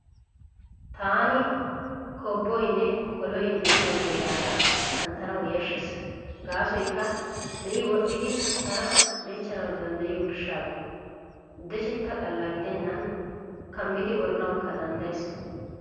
Taani koobboynne koloy diyo heeraara kanttanawu yashshees gaasoykka me'i wodhdhidi tana dechchanawu danddayiyo gishshawu. Dechetta xalla gidennan kaamidi woranawukka danddayees.